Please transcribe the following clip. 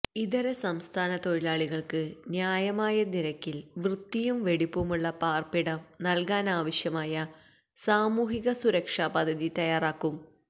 ഇതര സംസ്ഥാന തൊഴിലാളികള്ക്ക് ന്യായമായ നിരക്കില് വൃത്തിയും വെടിപ്പുമുള്ള പാര്പ്പിടം നല്കാനാവശ്യമായ സാമൂഹിക സുരക്ഷ പദ്ധതി തയ്യാറാക്കും